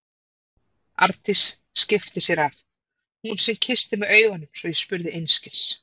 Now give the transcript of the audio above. Arndís skipti sér af, hún sem kyssti með augunum svo ég spurði einskis.